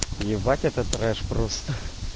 ебать это трэш просто